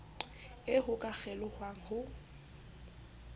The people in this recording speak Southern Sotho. eo ho ka kgelohwang ho